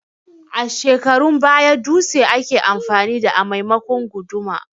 A shekarun baya dutse ake amfani da a maimakon guduma